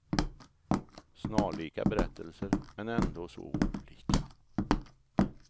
Snarlika berättelser, men ändå så olika.